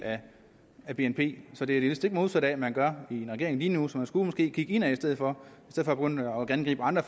af bnp så det er det stik modsatte af hvad man gør i regeringen lige nu så man skulle måske kigge indad i stedet for at gå rundt og angribe andre